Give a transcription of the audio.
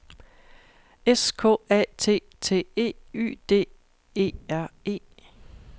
S K A T T E Y D E R E